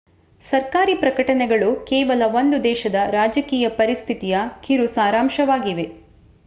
ಸರ್ಕಾರಿ ಪ್ರಕಟಣೆಗಳು ಕೇವಲ ಒಂದು ದೇಶದ ರಾಜಕೀಯ ಪರಿಸ್ಥಿತಿಯ ಕಿರು ಸಾರಾಂಶವಾಗಿವೆ